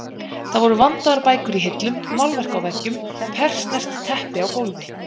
Það voru vandaðar bækur í hillum, málverk á veggjum, persneskt teppi á gólfi.